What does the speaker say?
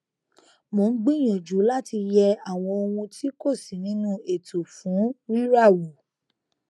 mò n gbìyànjú láti yẹ àwọn ohun tí kò sí nínú ètò fún rírà wo